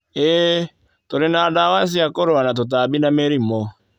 ĩĩ, tũrĩ na ndawa cia kũrũa na tũtambi na mĩrimũ.